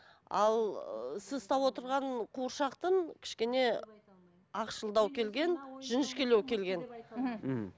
ал сіз ұстап отырған қуыршақтың кішкене ақшылдау келген жіңішкелеу келген мхм